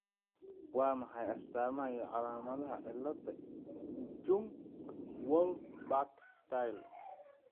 Waa maxay astamaha iyo calaamadaha cilada Jung Wolff Back Stahl ?